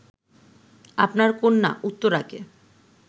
আপনার কন্যা উত্তরাকে